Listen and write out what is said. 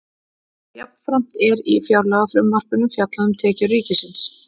Jafnframt er í fjárlagafrumvarpinu fjallað um tekjur ríkisins.